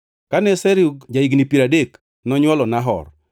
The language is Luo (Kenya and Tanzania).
Kane Serug ja-higni piero adek, nonywolo Nahor.